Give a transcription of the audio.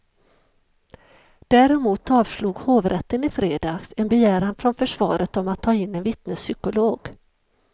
Däremot avslog hovrätten i fredags en begäran från försvaret om att ta in en vittnespsykolog.